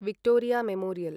Victoria memorial